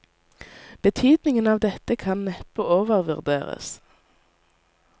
Betydningen av dette kan neppe overvurderes.